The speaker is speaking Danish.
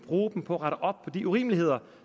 mere